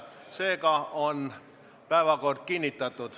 Seega on päevakord kinnitatud.